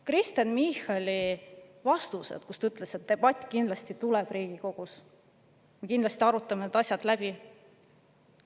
Kristen Michal ütles oma vastustes, et debatt kindlasti tuleb Riigikogus, me kindlasti arutame need asjad läbi.